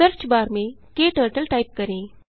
search bar में turtle type करें